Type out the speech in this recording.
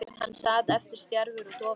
Hann sat eftir stjarfur og dofinn.